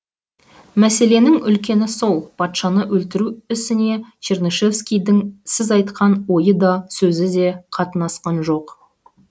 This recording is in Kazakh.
мәселенің үлкені сол патшаны өлтіру ісіне чернышевскийдің сіз айтқан ойы да сөзі де қатынасқан жоқ